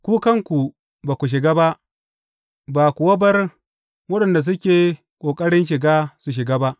Ku kanku ba ku shiga ba, ba kuwa bar waɗanda suke ƙoƙarin shiga su shiga ba.